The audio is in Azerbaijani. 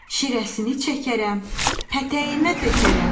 Şirəsini çəkərəm, pətəyimə tökərəm.